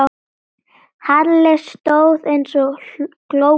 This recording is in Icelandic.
Halli stóð eins og glópur.